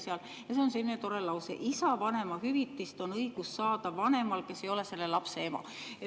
Seal on ka selline tore lause, mis ütleb, et isa vanemahüvitist on õigus saada vanemal, kes ei ole selle lapse ema.